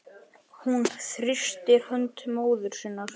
Hún þrýstir hönd móður sinnar.